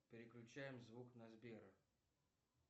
переключаем звук на сбера